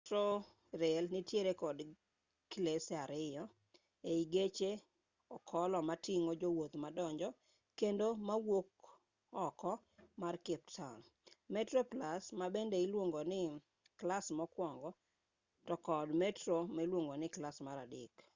metrorail nitiere kod klese ariyo ei geche okolo mating'o jowuoth madonjo kendo mawuok oko mar cape town: metroplus ma bende iluongo ni klas mokwongo to kod metro ma iluongo ni klas mar adek